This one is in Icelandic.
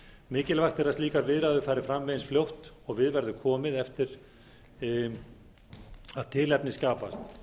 mikilvægt er að slíkar viðræður fari fram eins fljótt og við verður komið eftir að tilefni skapast